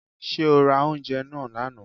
Ṣé o ra oúnjẹ náà lánàá.